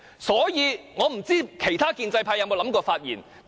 所以，我不知道其他建制派有否想過發言。